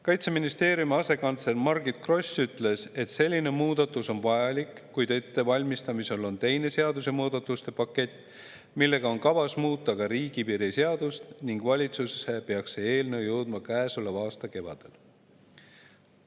Kaitseministeeriumi asekantsler Margit Gross ütles, et selline muudatus on vajalik, kuid ettevalmistamisel on teine seadusemuudatuste pakett, millega on kavas muuta ka riigipiiri seadust, ning valitsusse peaks see eelnõu jõudma käesoleva aasta kevadel.